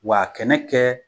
W'a a kɛnɛ kɛ